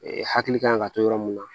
hakili kan ka to yɔrɔ mun na